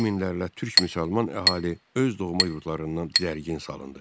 100 minlərlə türk müsəlman əhali öz doğma yurdlarından didərgin salındı.